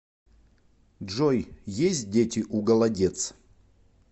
джой есть дети у голодец